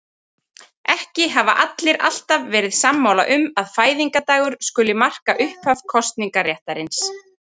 Ekki hafa allir alltaf verið sammála um að fæðingardagur skuli marka upphaf kosningaréttarins.